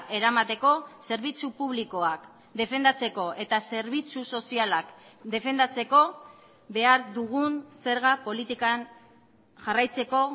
eramateko zerbitzu publikoak defendatzeko eta zerbitzu sozialak defendatzeko behar dugun zerga politikan jarraitzeko